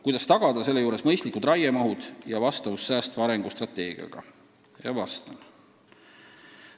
Kuidas tagada selle juures mõistlikud raiemahud ja vastavus säästva arengu strateegiaga?